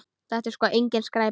Þetta er sko engin skræpa.